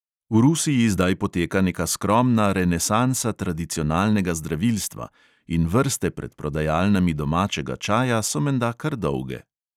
V rusiji zdaj poteka neka skromna renesansa tradicionalnega zdravilstva in vrste pred prodajalnami domačega čaja so menda kar dolge.